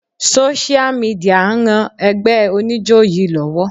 Sósíà midìà ń ran ẹgbẹ́ oníjó yí lọ́wọ́.